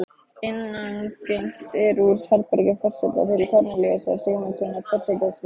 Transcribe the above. Innangengt er úr herbergi forseta til Kornelíusar Sigmundssonar forsetaritara.